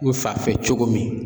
U fa fɛ cogo min